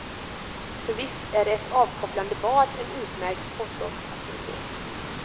För visst är ett avkopplande bad en utmärkt sportlovsaktivitet.